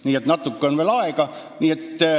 Nii et natuke on veel aega.